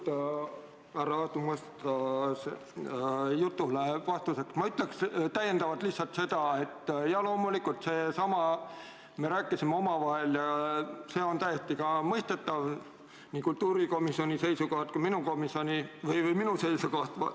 Jaa, härra Aadu Musta jutule vastuseks ma ütleksin veel lihtsalt seda, et loomulikult me rääkisime omavahel ja see on täiesti mõistetav nii kultuurikomisjoni seiskohalt kui ka minu seisukohalt.